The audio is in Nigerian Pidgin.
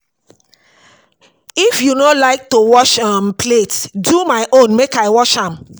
If you no like to wash um plate do my own make I wash am